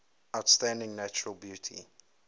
outstanding natural beauty